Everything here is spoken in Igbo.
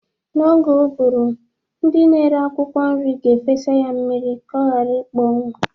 N'oge ụgụrụ, ndị na-ere akwụkwọ nri ga-efesa ya mmiri ka ọ ghara ịkpọnwụ.